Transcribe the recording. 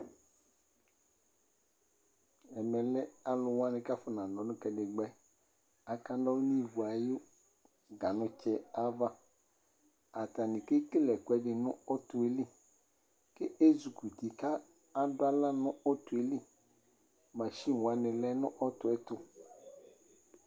ɛmɛ lɛ ɛfʊ kele ivutsu, akanɔlʊ nʊ ganutsɛ ayava atani kekele ɛkʊɛdɩ nʊ ɔtɔ yɛ li, atani ezikuti kʊ adu aɣla nʊ ɔtɔ yɛ li, macchine wanɩ lɛ nʊ ɔtɔ yɛ tʊ